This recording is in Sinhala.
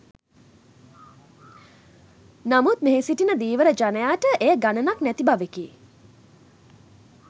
නමුත් මෙහි සිටින ධීවර ජනයාට එය ගණනක් නැති බවෙකි.